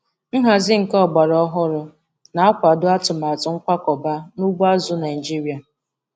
Nhazi nke ọgbara ọhụrụ na-akwado atụmatụ nkwakọba n'ugbo azụ̀ Naịjiria.